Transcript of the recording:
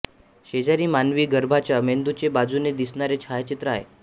शेजारी मानवी गर्भाच्या मेंदूचे बाजूने दिसणारे छायाचित्र आहे